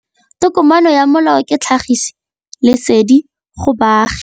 Tokomane ya molao ke tlhagisi lesedi go baagi.